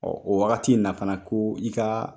o wagati in na fana ko i ka